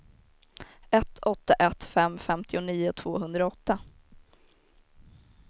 ett åtta ett fem femtionio tvåhundraåtta